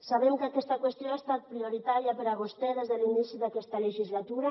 sabem que aquesta qüestió ha estat prioritària per a vostè des de l’inici d’aquesta legislatura